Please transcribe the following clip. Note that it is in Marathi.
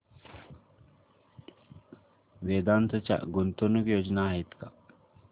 वेदांत च्या गुंतवणूक योजना आहेत का